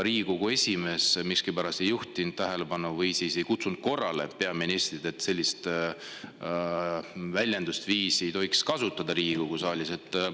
Riigikogu esimees miskipärast ei juhtinud sellele tähelepanu ega kutsunud peaministrit korrale, et sellist väljendusviisi ei tohiks Riigikogu saalis kasutada.